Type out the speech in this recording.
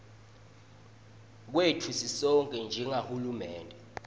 kwetfu sisonkhe njengahulumende